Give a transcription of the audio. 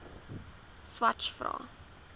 swathe vra